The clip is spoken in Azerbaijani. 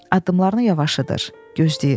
Addımlarını yavaşıdır, gözləyir.